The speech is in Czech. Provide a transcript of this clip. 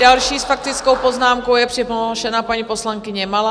Další s faktickou poznámkou je přihlášena paní poslankyně Malá.